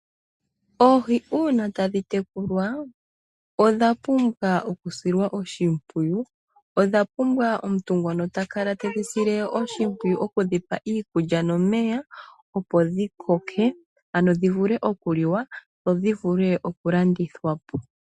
Oohi uuna tadhi tekulwa odha pumbwa okusilwa oshimpwiyu, odha pumbwa omuntu ngoka te dhi sile oshimpwiyu opo dhikoke Ano dhi vule okuliwa dho dhi vule okulandithwa po.